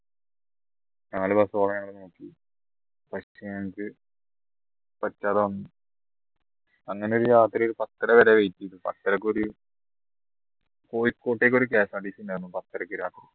നോക്കി അങ്ങനെ രാത്രി ഒരു പത്തര വരെ wait ചെയ്തു പത്തരക്കൊരു കോഴിക്കോട്ടേക്ക് ഒരു KSRTC ഉണ്ടായിരുന്നു പത്തരക്ക് രാത്രി